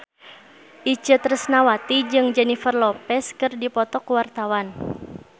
Itje Tresnawati jeung Jennifer Lopez keur dipoto ku wartawan